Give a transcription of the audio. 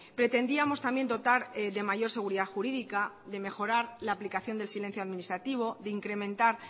pretendíamos también dotar de mayor seguridad jurídica de mejorar la aplicación del silencio administrativo de incrementar